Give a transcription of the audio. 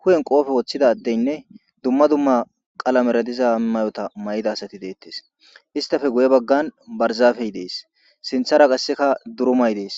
hu7en qoofe woththida addeynne dumma dumma qala meradiza may7ota may7ida asati deettes istafe guye baggan barzafey dees sinthara qasseka durumay dees